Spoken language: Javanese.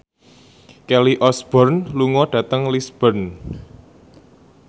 Kelly Osbourne lunga dhateng Lisburn